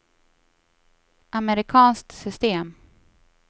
amerikanskt system